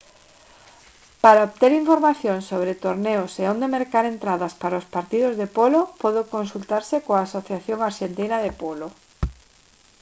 para obter información sobre torneos e onde mercar entradas para os partidos de polo pode consultarse coa asociación arxentina de polo